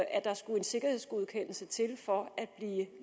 at der skulle en sikkerhedsgodkendelse til for at blive